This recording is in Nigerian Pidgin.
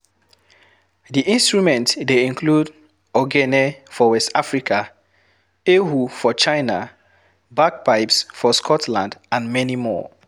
di instrument dey include Ogene for west Africa, Erhu for China, Bagpipes for Scotland and many more